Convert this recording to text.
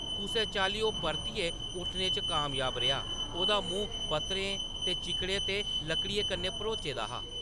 कुसै चाल्ली, ओह्‌‌ परतियै उट्ठने च कामयाब रेहा, ओह्‌‌‌दा मूंह्‌‌ पत्तरें ते चिक्कड़ै ते लकड़ियें कन्नै भरोचे दा हा ।